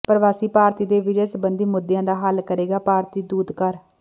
ਪ੍ਰਵਾਸੀ ਭਾਰਤੀ ਦੇ ਵੀਜ਼ੇ ਸੰਬੰਧੀ ਮੁੱਦਿਆਂ ਦਾ ਹੱਲ ਕਰੇਗਾ ਭਾਰਤੀ ਦੂਤਘਰ